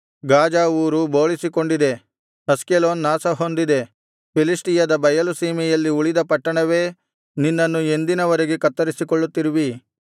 Gaza ಊರು ಬೋಳಿಸಿಕೊಂಡಿದೆ ಅಷ್ಕೆಲೋನ್ ನಾಶಹೊಂದಿದೆ ಫಿಲಿಷ್ಟಿಯದ ಬಯಲು ಸೀಮೆಯಲ್ಲಿ ಉಳಿದ ಪಟ್ಟಣವೇ ನಿನ್ನನ್ನು ಎಂದಿನ ವರೆಗೆ ಕತ್ತರಿಸಿಕೊಳ್ಳುತ್ತಿರುವಿ